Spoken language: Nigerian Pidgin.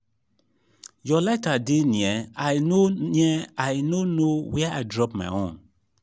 your lighter dey near i no near i no know where i drop my own